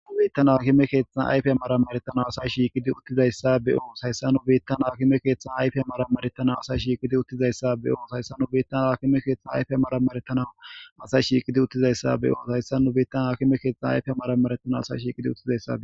Biittan hakime keeththan ayfe maramaretana asay shiiqidi uttizayssa be7oos hayssa nu biittan haakime keeththan ayfe amaramaretana asay shiiqidi uttizayssa be7oos hayssan nu biittan haakime keeththan ayfe maramaretana asay shiiqidi uttizayssa be7oos hayssan nu biittan hakime keeththan ayfe amaramaretana asay shiiqidi uttizayssa.